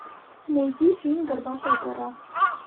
найди фильм горбатая гора